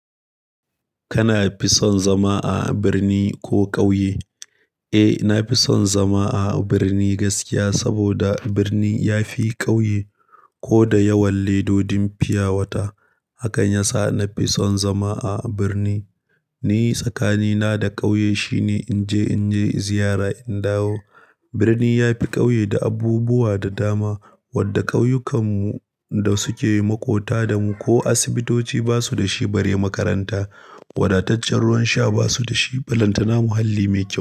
Kana fi son zama a birni ko ƙauye? Eh, na fi son zama a birni gaskiya saboda birni ya fi ƙauye ko da yawan ledodin fiyawata. Hakan ya sa na fi son zama a birni. Ni tsakanina da ƙauye shine in je, in je ziyara, in dawo. Birni ya fi ƙauye da abubuwa da dama wadda ƙauyukan mu da suke maƙota da mu ko asibitoci ba su da shi bare makaranta. Wadataccen ruwan sha ba su da shi ballantana muhalli me kyau.